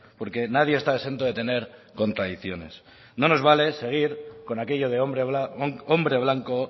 porque nadie está exento de tener contradicciones no nos vale seguir con aquello de hombre blanco